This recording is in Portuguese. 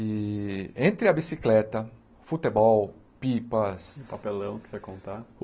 E entre a bicicleta, futebol, pipas... E papelão, que você ia contar?